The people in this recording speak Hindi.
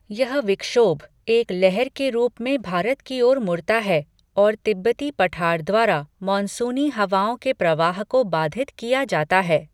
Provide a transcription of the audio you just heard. यह विक्षोभ एक लहर के रूप में भारत की ओर मुड़ता है और तिब्बती पठार द्वारा मानसूनी हवाओं के प्रवाह को बाधित किया जाता है।